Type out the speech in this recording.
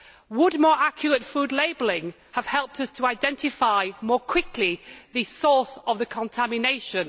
Would more accurate food labelling have helped us to identify more quickly the source of the contamination?